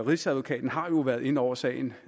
rigsadvokaten har jo været inde over sagen